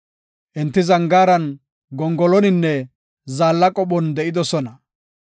Enti zangaaran, gongoloninne zaalla qophon de7idosona.